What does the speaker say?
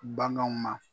Bananw ma